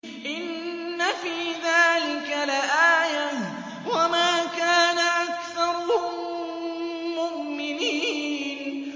إِنَّ فِي ذَٰلِكَ لَآيَةً ۖ وَمَا كَانَ أَكْثَرُهُم مُّؤْمِنِينَ